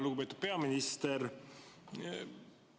Lugupeetud peaminister!